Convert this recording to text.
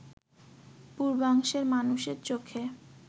পূর্বাংশের মানুষের চোখে